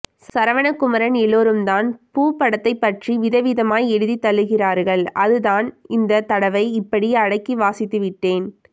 சரவணகுமரன் எல்லோரும்தான் பூ படத்தை பற்றி விதம்விதமாய் எழுதி தள்ளுகிறார்கள் அதுதான் இந்த தடவை இப்படி அடக்கி வாசித்து விட்டேன்